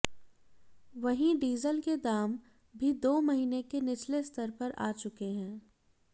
वहीं डीजल के दाम भी दो महीने के निचले स्तर पर आ चुके हैं